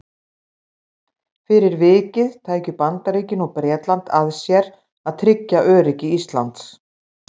Fyrir vikið tækju Bandaríkin og Bretland að sér að tryggja öryggi Íslands.